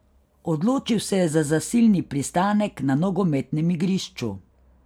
Odločil se je za zasilni pristanek na nogometnem igrišču.